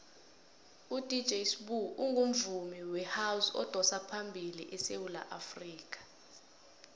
udj sbu ungumvumi wehouse odosaphambili esewula afrikha